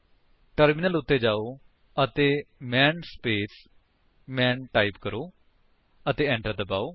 terminal ਉੱਤੇ ਜਾਓ ਅਤੇ ਮਾਨ ਸਪੇਸ ਮਾਨ ਟਾਈਪ ਕਰੋ ਅਤੇ enter ਦਬਾਓ